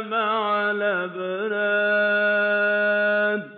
مَعَ الْأَبْرَارِ